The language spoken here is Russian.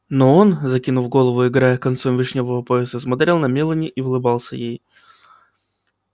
но он закинув голову и играя концом вишнёвого пояса смотрел на мелани и улыбался ей